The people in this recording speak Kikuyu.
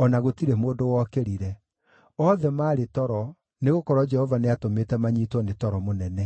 o na gũtirĩ mũndũ wokĩrire. Othe maarĩ toro, nĩgũkorwo Jehova nĩatũmĩte manyiitwo nĩ toro mũnene.